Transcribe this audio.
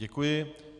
Děkuji.